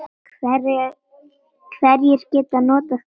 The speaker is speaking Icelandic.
Hverjir geta notað kerfið?